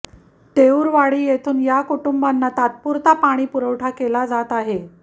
तेऊरवाडी येथून या कुटुंबांना तात्पुरता पाणी पुरवठा केला जात आहे